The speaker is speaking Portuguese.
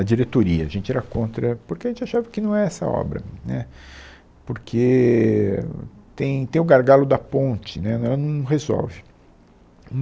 A diretoria, a gente era contra, porque a gente achava que não é essa a obra, né, porque tem tem o gargalo da ponte, né, ela não resolve.